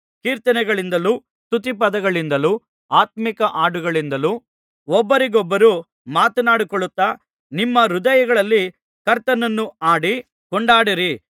ಕೀರ್ತನೆಗಳಿಂದಲೂ ಸ್ತುತಿಪದಗಳಿಂದಲೂ ಆತ್ಮೀಕ ಹಾಡುಗಳಿಂದಲೂ ಒಬ್ಬರಿಗೊಬ್ಬರು ಮಾತನಾಡಿಕೊಳ್ಳುತ್ತಾ ನಿಮ್ಮ ಹೃದಯಗಳಲ್ಲಿ ಕರ್ತನನ್ನು ಹಾಡಿ ಕೊಂಡಾಡಿರಿ